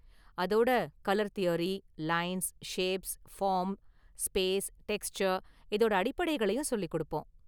அதோட colour theory, lines, shapes, form, space, texture இதோட அடிப்படைகளையும் சொல்லிக் கொடுப்போம்.